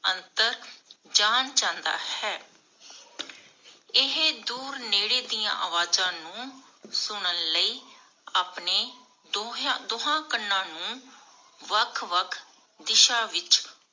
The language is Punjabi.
ਅੰਤਰ ਜਾਣ ਜਾਂਦਾ ਹੈ. ਇਹ ਦੂਰ ਨੇੜੇ ਦੀਆਂ ਅਵਾਜ਼ਾਂ ਨੂੰ ਸੁਨਣ ਲਈ ਆਪਣੇ ਢੋਹੇਯਾ ਦੋਹਾਂ ਕੰਨਾਂ ਨੂੰ ਵੱਖ ਵੱਖ ਦਿਸ਼ਾ ਵਿਚ